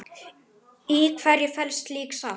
Í hverju felst slík sátt?